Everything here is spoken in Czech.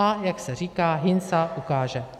A jak se říká - hyn sa hukáže.